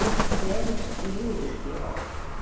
ты ценишь и любишь его